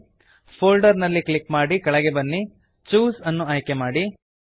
folder folder ನಲ್ಲಿ click ಮಾಡಿ ಕೆಳಗೆ ಬನ್ನಿ ಚೂಸ್ ಛೂಸ್ ಅನ್ನು ಆಯ್ಕೆ ಮಾಡಿ